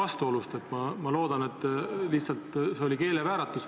Nii et ma loodan, et see oli keelevääratus.